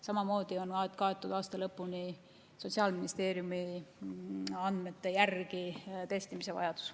Samamoodi on aasta lõpuni kaetud Sotsiaalministeeriumi andmete järgi testimise vajadus.